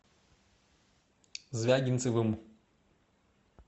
звягинцевым